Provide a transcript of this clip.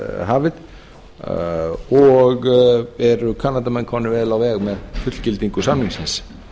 hafið og eru kanadamenn komnir vel á veg með fullgildingu samningsins